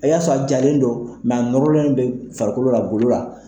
A y'a sɔrɔ a jalen don a nɔrɔlen bɛ farikolo la golo la.